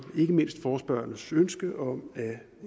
ikke mindst i forespørgernes ønske om at